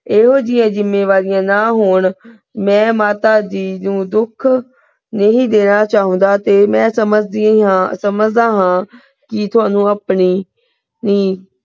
ਇਹੋ ਜਿਹੀਆਂ ਜਿੰਮੇਵਾਰੀਆਂ ਨਾ ਹੋਣ ਮੈਂ ਮਾਤਾ ਜੀ ਨੂੰ ਦੁੱਖ ਨਹੀਂ ਦੇਣਾ ਚਾਹੁੰਦਾ ਤੇ ਮੈਂ ਸਮਝਦੀ ਹਾਂ ਸਮਝਦਾ ਹਾਂ ਕੀ ਤੁਹਾਨੂੰ ਆਪਣੀ,